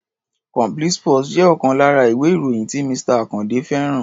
Complete sports jẹ́ ọ̀kan lára ìwé-ìròyìn tí Mr. Àkàndé fẹ́ràn.